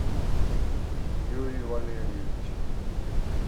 юрий валерьевич